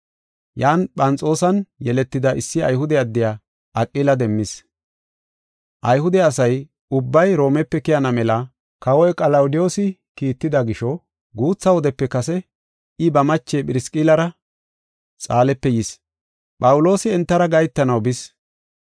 Yan Phanxoosan yeletida issi Ayhude addiya Aqila demmis. Ayhude asa ubbay Roomepe keyana mela kawoy Qalawudiyoosi kiitida gisho guutha wodepe kase I ba mache Phirisqillara Xaalepe yis. Phawuloosi entara gahetanaw bis.